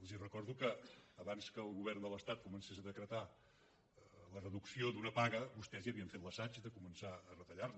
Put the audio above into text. els recordo que abans que el govern de l’estat comencés a decretar la reducció d’una paga vostès ja havien fet l’assaig de començar a retallar·la